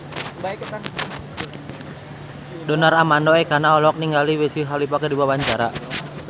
Donar Armando Ekana olohok ningali Wiz Khalifa keur diwawancara